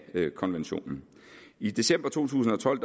konventionen i december to tusind og tolv